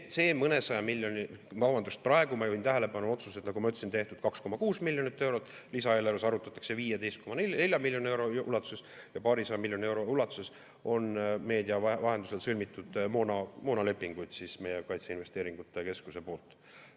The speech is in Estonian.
See mõnesaja miljoni – vabandust, praegu ma juhin tähelepanu, et otsused, nagu ma ütlesin, on tehtud 2,6 miljoni euro, lisaeelarves arutatakse 15,4 miljoni euro ulatuses ja paarisaja miljoni euro ulatuses on meedia info kohaselt sõlmitud moonalepinguid meie kaitseinvesteeringute keskuse poolt.